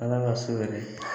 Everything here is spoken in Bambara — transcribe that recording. Ala ka su hɛrɛ